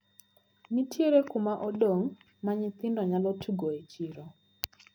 Nitiere kumaduong` ma nyithindo nyalo tugoe e chiro.